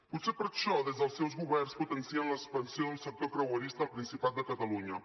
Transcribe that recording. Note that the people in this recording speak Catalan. potser per això des dels seus governs potencien l’expansió del sector creuerista al principat de catalunya